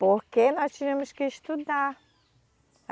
Porque nós tínhamos que estudar.